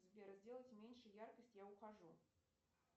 сбер сделать меньше яркость я ухожу